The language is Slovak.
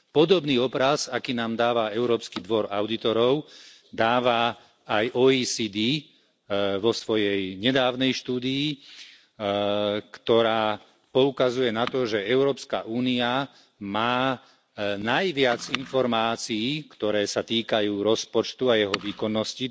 Podobný obraz, aký nám dáva Európsky dvor audítorov, dáva aj OECD vo svojej nedávnej štúdii, ktorá poukazuje na to, že Európska únia má najviac informácií, ktoré sa týkajú rozpočtu a jeho výkonnosti.